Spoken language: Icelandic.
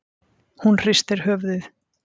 Hún hristir höfuðið.